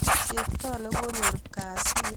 cheptoo ne konyor kasir kongeten koyor kasit